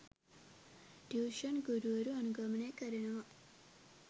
tuition ගුරුවරු අනුගමනය කරනවා..